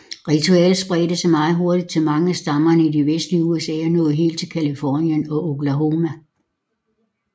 Ritualet spredte sig meget hurtigt til mange af stammerne i det vestlige USA og nåede helt til Californien og Oklahoma